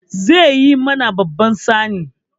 Zai yi mana babban tsani.